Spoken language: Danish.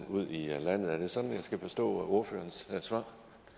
ud i landet er det sådan jeg skal forstå ordførerens svar